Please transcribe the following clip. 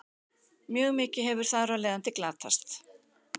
Mjög mikið hefur þar af leiðandi glatast.